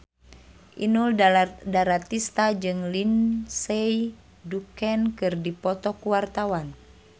Inul Daratista jeung Lindsay Ducan keur dipoto ku wartawan